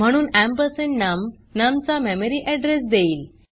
म्हणून ampersand num num चा memory address देईल